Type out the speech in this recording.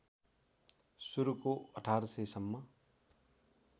सुरुको १८०० सम्म